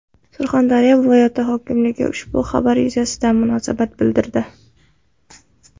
Surxondaryo viloyati hokimligi ushbu xabar yuzasidan munosabat bildirdi .